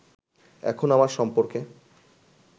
এখন আমার সম্পর্কে